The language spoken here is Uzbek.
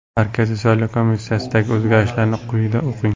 Markaziy salov komissiyasidagi o‘zgarishlarni quyida o‘qing.